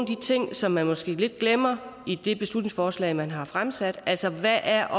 de ting som man måske lidt glemmer i det beslutningsforslag man har fremsat altså hvad er